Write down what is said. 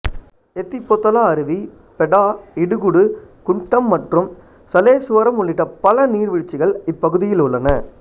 எத்திபோத்தலா அருவி பெடா இடுகுடு குந்டம் மற்றும் சலேசுவரம் உள்ளிட்ட பல நீர்வீழ்ச்சிகள் இப்பகுதியில் உள்ளன